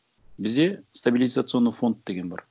бізде стабилизационный фонд деген бар